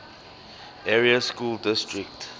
area school district